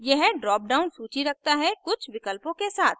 यह drop down सूची रखता है कुछ विकल्पों के साथ